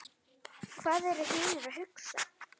Hvað eru hinir að hugsa?